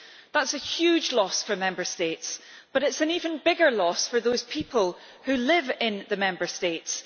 That is a huge loss for Member States, but it is an even bigger loss for the people who live in the Member States.